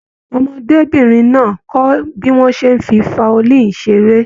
Ọmọdébinrin náà kọ bí wọn ṣe n fí faolini seré.